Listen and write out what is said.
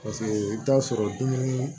Paseke i bɛ taa sɔrɔ dumuni